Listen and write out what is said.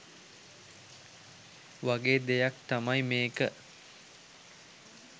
වගේ දෙයක් තමයි මේක.